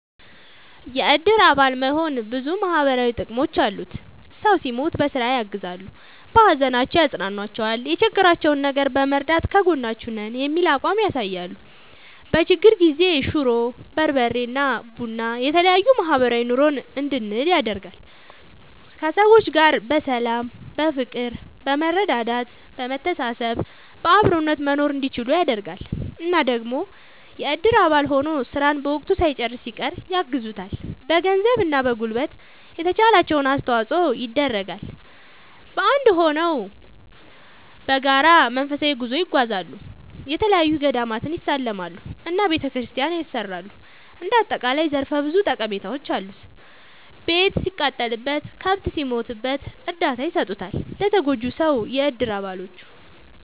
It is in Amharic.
የእድር አባል መሆን ብዙ ማህበራዊ ጥቅሞች አሉት ሰው ሲሞት በስራ ያግዛሉ። በሀዘናቸው ያፅኗኗቸዋል የቸገራቸውን ነገር በመርዳት ከጎናችሁ ነን የሚል አቋም ያሳያሉ። በችግር ጊዜ ሽሮ፣ በርበሬ እና ቡና የተለያዬ ማህበራዊ ኑሮን እንድንል ያደርጋል። ከሰዎች ጋር በሰላም በፍቅር በመረዳዳት በመተሳሰብ በአብሮነት መኖርእንዲችሉ ያደርጋል። እና ደግሞ የእድር አባል ሆኖ ስራን በወቅቱ ሳይጨርስ ሲቀር ያግዙታል በገንዘብ እና በጉልበት የተቻላቸውን አስተዋፅዖ ይደረጋል። በአንድ እድር ሆነው በጋራ መንፈሳዊ ጉዞ ይጓዛሉ፣ የተለያዪ ገዳማትን ይሳለማሉ እና ቤተክርስቲያን ያሰራሉ እንደ አጠቃላይ ዘርፈ ብዙ ጠቀሜታዎች አሉት። ቤት ሲቃጠልበት፣ ከብት ሲሞትበት እርዳታ ይሰጡታል ለተጎጂው ሰው የእድር አባሎቹ።…ተጨማሪ ይመልከቱ